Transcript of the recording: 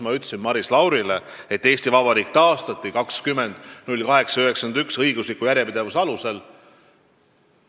Ma ütlesin Maris Laurile, et Eesti Vabariik taastati 20.08.91 õigusliku järjepidevuse alusel.